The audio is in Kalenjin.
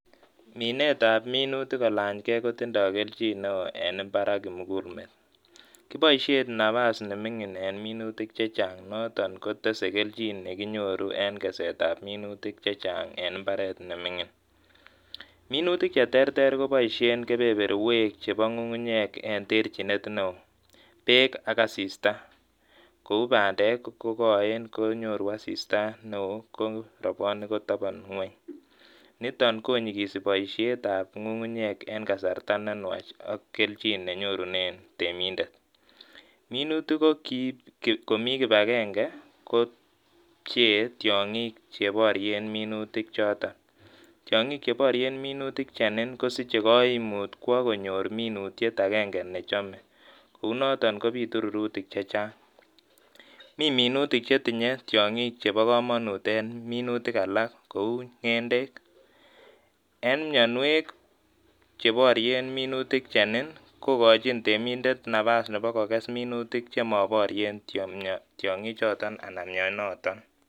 Minet ab minutik kolanygei ko tindoi keljin neo en imbar ak kimugulmet. Kiboisien nabas ne mining en minutik chechang noton ko tese keljin ne kinyoru en keset ab minutik chechang en imbaret ne mining. Minutik che terter koboisien kebeberwek chebo ng'ung'unyek en terchinet neo. Beek ak asista kou bandek ko koen konyoru asista neo ko robwonik kotobon ngwony niton konyigisi boisiet ab ng'ung'unyek en kasarta ne nwach ak keljin ne nyorunen temindet. Minutik ko kiib komi kibagenge ko pchee tiong'ik che borien minutik choton. Tiong'ik che borien minutik chenen kosiche koimut kwo konyor minutiet akenge ne chome kou noton kobitu rurutik che chang. Mi minutik che tinye tiong'ik chebo komonut eng minutik alak kou ng'endek en mionwek che borien minutik chenen kokochin tiemindet nabas nebo kokes minutik che moborien tiong'ik choton anan mionoton.